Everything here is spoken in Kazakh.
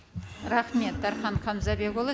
рахмет дархан хамзабекұлы